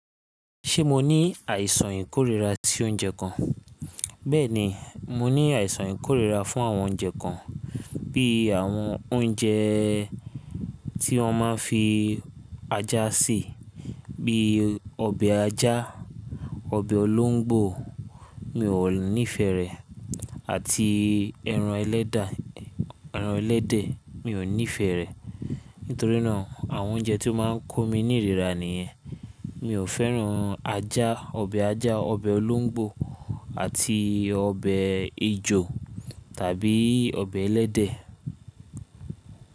Ṣé mo ní àìsàn ìkórira ti oúnjẹ kan? Bẹ́ẹ̀ni, mo ní àìsàn ìkórira fún àwọn oúnjẹ kan, bí i àwọn oúnjẹ́ tí wọ́n máa ń fi ajá sè, bí i ọbẹ̀ ajá, ọbẹ̀ olóńgbò, mi ò nífẹ̀ẹ́ rẹ̀, àti ẹran ẹlẹ́de, ẹran ẹlẹ́dẹ̀, mi ò nífẹ̀ẹ́ rẹ̀. Nítorí nàa àwọn oúnjẹ tí ó máa ń kó mi nírìra nìyẹn. Mi ò fẹ́ràn ajá, ọbẹ̀ ajá, ọbẹ̀ olóńgbò àti ọbẹ̀ ejò tàbí ọbẹ̀ ẹlẹ́dẹ̀.